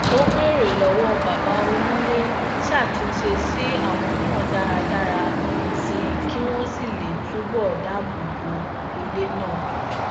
ó béèrè lọwọ baba onile ṣatunṣe si awọn náà dára dára sí i kí wón lè túbò dáàbò bo ilé náà